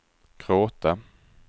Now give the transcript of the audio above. gråta